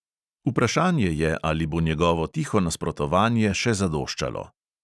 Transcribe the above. Vprašanje je, ali bo njegovo tiho nasprotovanje še zadoščalo.